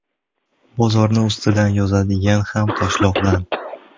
Bozorni ustidan yozadigan ham Toshloqdan.